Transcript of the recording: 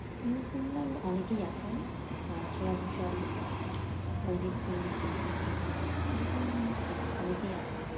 প্রিয় singer অনেকেই আছেন। আহ শ্রেয়া ঘোষাল, অরিজিৎ সিং এরকম আহ অনেকেই আছেন।